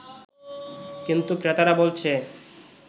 কিন্তু ক্রেতারা বলছে